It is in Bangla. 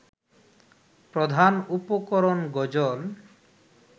প্রধান উপকরণ গজল